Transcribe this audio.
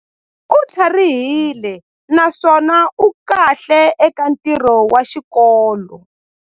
U tlharihile naswona u kahle eka ntirho wa xikolo.